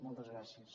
moltes gràcies